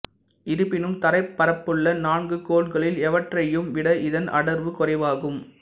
இருப்பினும் தரைப்பரப்புள்ள நான்கு கோள்களில் எவற்றையையும் விட இதன் அடர்வு குறைவாகும்